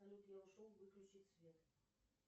салют я ушел выключить свет